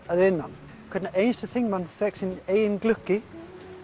að innan hver einasti þingmaður fékk sinn eigin glugga